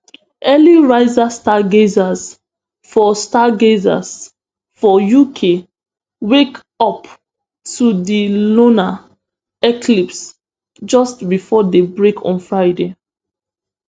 earlyrising stargazers for stargazers for uk wake up to di lunar eclipse just before day break on friday